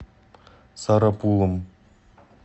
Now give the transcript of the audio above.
сарапулом